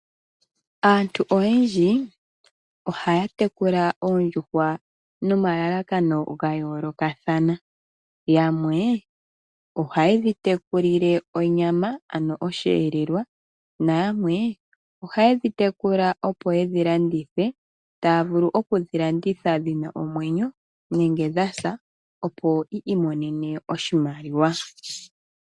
Aantu oyendji ohaya tekula oondjuhwa nomalalakano ga yoolokathana. Yamwe ohaye dhi tekulile onyama ano osheelelwa nayamwe ohaye dhi tekula, opo ye dhi landithe, taya vulu okudhi landitha dhi na omwenyo nenge dha sa, opo yi imonene oshimaliwa.